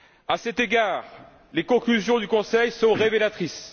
À cet égard, les conclusions du Conseil sont révélatrices.